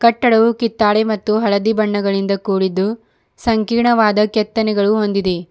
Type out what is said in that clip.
ಕಟ್ಟಡವು ಕಿತ್ತಾಳೆ ಮತ್ತು ಹಳದಿ ಬಣ್ಣಗಳಿಂದ ಕೂಡಿದ್ದು ಸಂಕೀರ್ಣವಾದ ಕೆತ್ತನೆಗಳು ಹೊಂದಿದೆ.